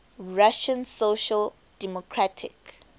russian social democratic